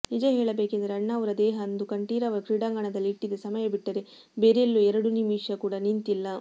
ನಿಜ ಹೇಳಬೇಕೆಂದರೆ ಅಣ್ಣಾವ್ರ ದೇಹ ಅಂದು ಕಂಠೀರವ ಕ್ರೀಡಾಂಗಣದಲ್ಲಿ ಇಟ್ಟಿದ್ದ ಸಮಯ ಬಿಟ್ಟರೆ ಬೇರೆಲ್ಲೂ ಎರಡು ನಿಮಿಷ ಕೂಡ ನಿಂತಿಲ್ಲ